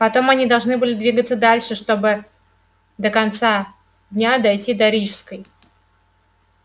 потом они должны были двигаться дальше чтобы до конца дня дойти до рижской